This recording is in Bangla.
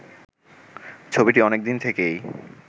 ছবিটি অনেকদিন থেকেই